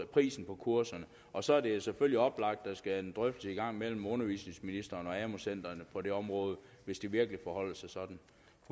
prisen på kurserne og så er det jo selvfølgelig oplagt at der skal en drøftelse i gang mellem undervisningsministeren og amu centrene på det område hvis det virkelig forholder sig sådan